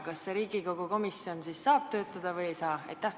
Kas see Riigikogu komisjon siis saab töötada või ei saa?